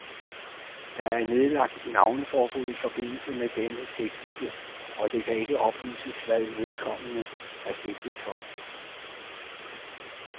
Der er nedlagt navneforbud i forbindelse med denne sigtelse, og det kan ikke oplyses, hvad vedkommende er sigtet for.